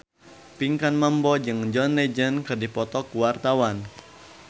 Pinkan Mambo jeung John Legend keur dipoto ku wartawan